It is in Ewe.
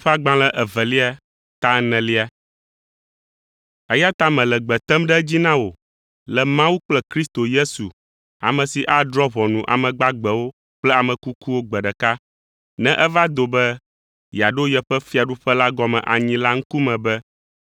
Eya ta mele gbe tem ɖe edzi na wò le Mawu kple Kristo Yesu, ame si adrɔ̃ ʋɔnu ame gbagbewo kple ame kukuwo gbe ɖeka ne eva do be yeaɖo yeƒe fiaɖuƒe la gɔme anyi la ŋkume be